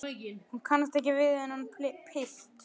Hún kannast ekki við þennan pilt.